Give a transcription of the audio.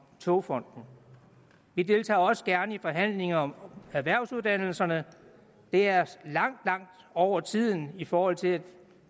togfonden vi deltager også gerne i forhandlinger om erhvervsuddannelserne det er langt langt over tiden i forhold til at